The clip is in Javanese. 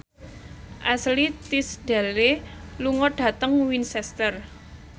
Ashley Tisdale lunga dhateng Winchester